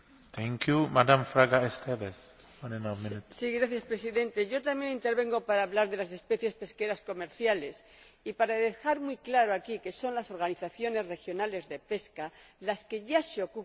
Señor Presidente, también intervengo para hablar de las especies pesqueras comerciales y para dejar muy claro aquí que son las organizaciones regionales de pesca las que ya se ocupan de la gestión y conservación de estas especies.